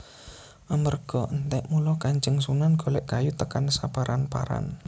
Amarga entek mula Kanjeng Sunan golek kayu tekan saparan paran